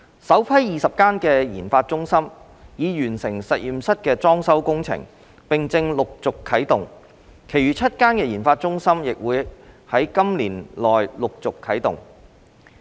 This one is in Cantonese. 首批20間研發中心已完成實驗室裝修工程，並正陸續啟動，其餘7間研發中心亦會於今年內陸續啟動。